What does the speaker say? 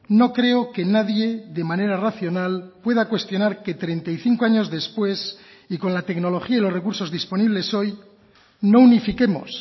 no creo que nadie de manera racional pueda cuestionar que treinta y cinco años después y con la tecnología y los recursos disponibles hoy no unifiquemos